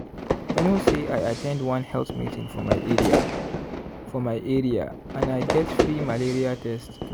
you know say i at ten d one health meeting for my area for my area and i get free malaria test.